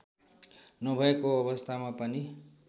नभएको अवस्थामा पनि